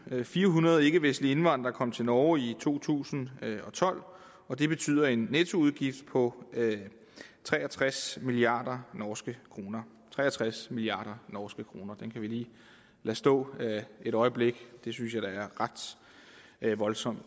og firehundrede ikkevestlige indvandrere kom til norge i to tusind og tolv og det betyder en nettoudgift på tre og tres milliard norske kroner tre og tres milliard norske kroner den kan vi lige lade stå et øjeblik det synes jeg da er ret voldsomt